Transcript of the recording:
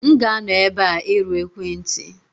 M ga-anọ ebe a irụ ekwentị.